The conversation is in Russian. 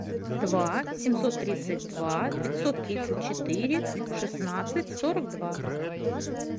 два семьсот тридцать два пятьсот тридцать четыре шестнадцать сорок два